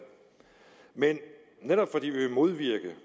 men netop fordi vi vil modvirke det